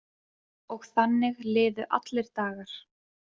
Og þannig liðu allir dagar.